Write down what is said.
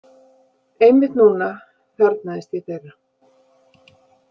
Einmitt núna þarfnaðist ég þeirra.